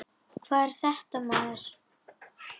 Hvað er þetta maður?